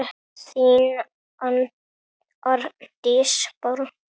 þín Arndís Bára.